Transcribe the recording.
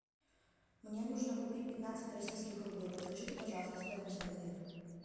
мне нужно купить пятнадцать российских рублей подскажите пожалуйста стоимость обмена